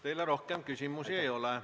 Teile rohkem küsimusi ei ole.